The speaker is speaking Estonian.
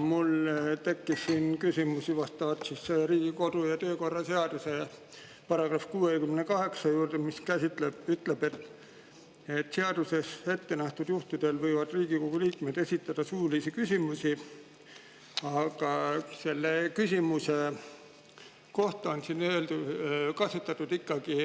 Mul tekkis küsimus Riigikogu kodu- ja töökorra seaduse § 68 kohta, mis ütleb, et seaduses ette nähtud juhtudel võivad Riigikogu liikmed esitada suulisi küsimusi – selle küsimuse kohta on siin kasutatud ikkagi